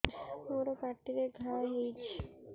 ମୋର ପାଟିରେ ଘା ହେଇଚି